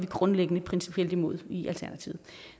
grundlæggende og principielt imod